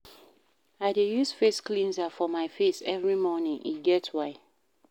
I dey use face cleanser for my face every morning, e get why.